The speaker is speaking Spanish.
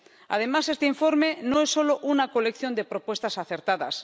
Además, este informe no es solo una colección de propuestas acertadas.